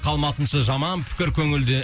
қалмасыншы жаман пікір көңілде